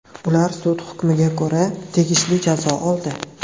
Ular sud hukmiga ko‘ra tegishli jazo oldi.